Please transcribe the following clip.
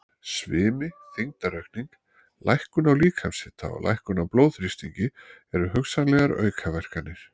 Svimi, þyngdaraukning, lækkun á líkamshita og lækkun á blóðþrýstingi eru hugsanlegar aukaverkanir.